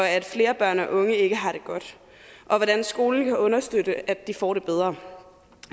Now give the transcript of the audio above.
at flere børn og unge ikke har det godt og hvordan skolen kan understøtte at de får det bedre